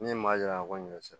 Min ye maa yira ko ɲɔsi